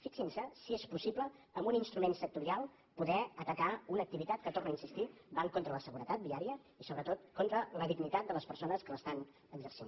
fixin se si és possible amb un instrument sectorial poder atacar una activitat que hi torno a insistir va contra la seguretat viària i sobretot contra la dignitat de les persones que l’estan exercint